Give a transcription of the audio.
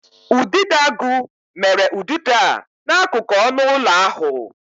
Udidoagu mere ụdịdo e n'akụkụ ọnụ ụlọ ahụ.